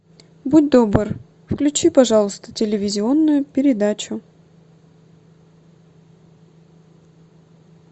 будь добр включи пожалуйста телевизионную передачу